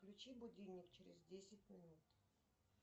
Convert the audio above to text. включи будильник через десять минут